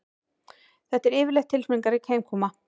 Þetta er yfirleitt tilfinningarík heimkoma